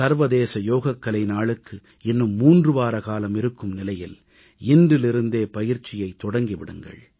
சர்வதேச யோகக்கலை நாளுக்கு இன்னும் 3 வாரகாலம் இருக்கும் நிலையில் இன்றிலிருந்தே பயிற்சியைத் தொடக்கி விடுங்கள்